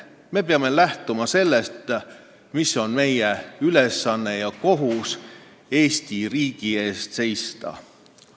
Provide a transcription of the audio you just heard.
Me peame lähtuma sellest, mis on meie ülesanne ja kohus: Eesti riigi eest seista.